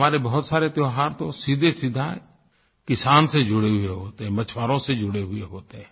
हमारे बहुत सारे त्योहार तो सीधेसीधे किसान से जुड़े हुए होते हैं मछुआरों से जुड़े हुए होते हैं